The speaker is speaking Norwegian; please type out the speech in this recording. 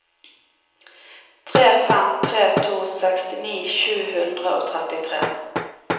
tre fem tre to sekstini sju hundre og trettitre